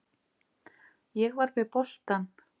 Ég var með boltann.